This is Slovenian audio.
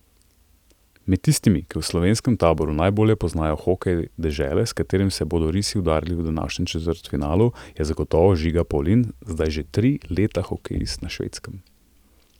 Med tistimi, ki v slovenskem taboru najbolje poznajo hokej dežele, s katero se bodo risi udarili v današnjem četrtfinalu, je zagotovo Žiga Pavlin, zdaj že tri leta hokejist na Švedskem.